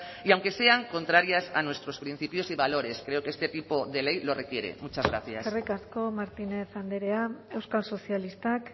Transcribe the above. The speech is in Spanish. y aunque sean contrarias a nuestros principios y valores creo que este tipo de ley lo requiere muchas gracias eskerrik asko martínez andrea euskal sozialistak